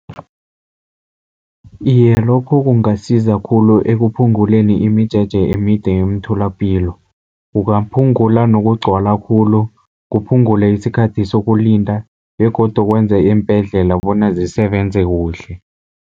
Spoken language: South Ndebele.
Iye, lokho kungasiza khulu ekuphunguleni imijeje emide emtholapilo. Kungaphungula nokugcwala khulu, kuphungule isikhathi sokulinda begodu kwenze iimbhedlela bona zisebenze kuhle.